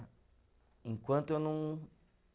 Enquanto eu não